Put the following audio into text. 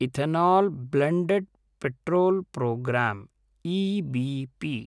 ethanol blended petrol programme EBP